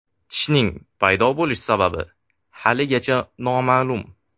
Tishning paydo bo‘lish sababi haligacha noma’lum.